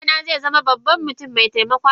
Dana zaizama babban mutum maitaimakon alumma.